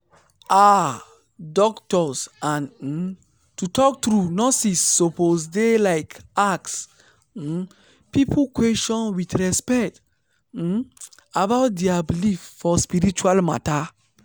ah! doctors and um to talk true nurses suppose dey like ask um people question with respect um about dia believe for spiritual matter.